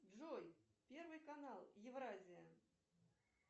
джой первый канал евразия